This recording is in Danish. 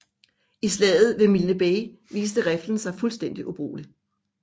I slaget ved Milne Bay viste riflen sig fuldstændig ubrugelig